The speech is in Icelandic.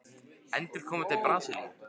Endurkoma til Brasilíu?